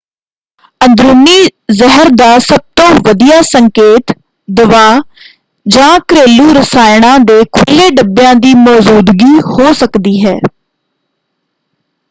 ਅੰਦਰੂਨੀ ਜ਼ਹਿਰ ਦਾ ਸਭਤੋਂ ਵਧੀਆ ਸੰਕੇਤ ਦਵਾਅ ਜਾਂ ਘਰੇਲੂ ਰਸਾਇਣਾ ਦੇ ਖੁੱਲ੍ਹੇ ਡੱਬਿਆਂ ਦੀ ਮੌਜ਼ੂਦਗੀ ਹੋ ਸਕਦੀ ਹੈ।